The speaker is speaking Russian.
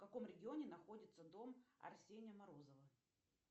в каком регионе находится дом арсения морозова